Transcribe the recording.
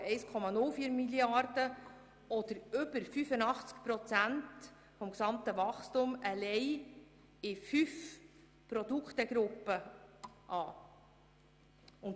Davon fallen 1,04 Mrd. Franken oder mehr als 85 Prozent des gesamten Wachstums bei fünf Produktegruppen an.